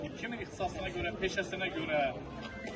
Kimsə peşə ixtisasına görə, peşəsinə görə.